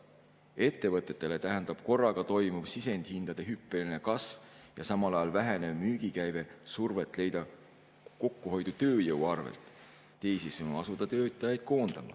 Ettevõtetele tähendab korraga toimuv sisendihindade hüppeline kasv ja samal ajal vähenev müügikäive survet leida kokkuhoidu tööjõu arvel, teisisõnu, survet asuda töötajaid koondama.